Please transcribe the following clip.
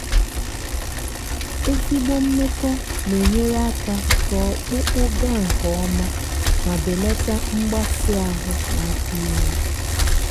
ezigbo mmekọ na-enyere aka ka ọkpụkpụ gá nke ọma ma belata mgbasị ahụ n'afọ ime.